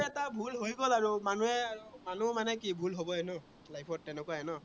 তাৰ ভুল হৈ গল আৰু মানুহে, মানুহৰ মানে কি ভুল হবই ন life ত তেনেকুৱাই ন?